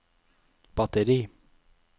batteri